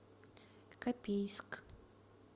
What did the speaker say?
копейск